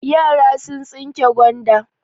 Yara sun tsinke gwanda.